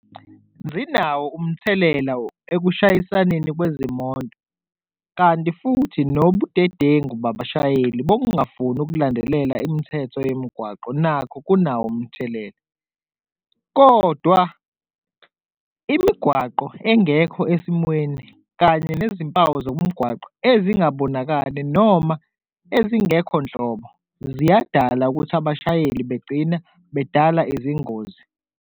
Zinawo umthelela akushayisani kwezimoto kanti futhi nobudedengu babashayeli bokungafuni ukulandelela imithetho yemigwaqo, nakho kunawo umthelela, kodwa imigwaqo engekho esimweni kanye nezimpawu zomgwaqo ezingabonakali noma ezingekho nhlobo ziyadala ukuthi abashayeli begcina bedala izingozi.